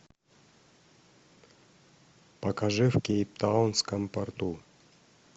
покажи в кейптаунском порту